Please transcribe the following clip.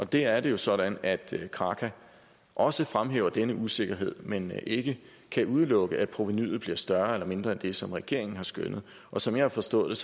der er det jo sådan at kraka også fremhæver denne usikkerhed men ikke kan udelukke at provenuet bliver større eller mindre end det som regeringen har skønnet og som jeg har forstået